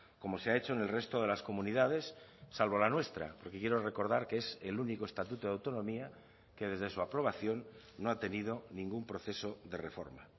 como se ha hecho en el resto de las comunidades salvo la nuestra porque quiero recordar que es el único estatuto de autonomía que desde su aprobación no ha tenido ningún proceso de reforma